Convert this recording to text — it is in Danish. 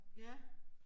Ja